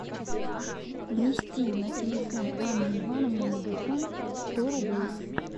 внести на телефон анны ивановны мегафон сто рублей